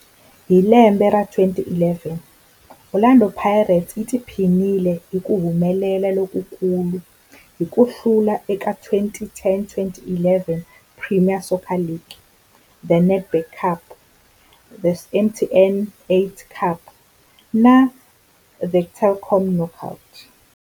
Hi lembe ra 2011, Orlando Pirates yi tiphinile hi ku humelela lokukulu hi ku hlula eka 2010-11 Premier Soccer League, The Nedbank Cup, The MTN 8 Cup na The Telkom Knockout.